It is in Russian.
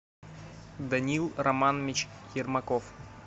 даниил романович ермаков